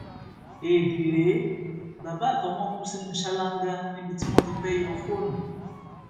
éèdì rèé bàbá àtọmọ kù sínú ṣáláńgá níbi tí wọn ti fẹẹ yọ fóònù